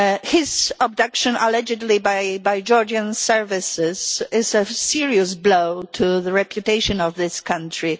His abduction, allegedly by Georgian services, is a serious blow to the reputation of that country.